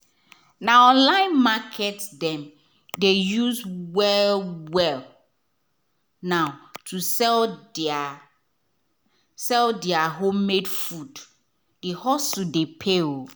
na online market dem dey use well-well now to sell their sell their homemade food — the hustle dey pay.